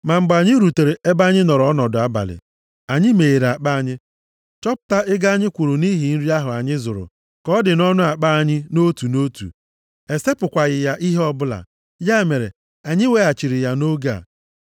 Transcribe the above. Ma, mgbe anyị rutere ebe anyị nọrọ ọnọdụ abalị, anyị meghere akpa anyị, chọpụta ego anyị kwụrụ nʼihi nri ahụ anyị zụrụ ka ọ dị nʼọnụ akpa anyị nʼotu na otu. E sepụkwaghị ya ihe ọ bụla. Ya mere, anyị weghachiri ya nʼoge a.